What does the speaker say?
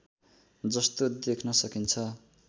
जस्तो देख्न सकिन्छ